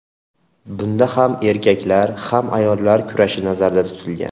Bunda ham erkaklar, ham ayollar kurashi nazarda tutilgan.